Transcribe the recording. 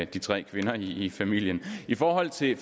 de tre kvinder i familien i forhold til det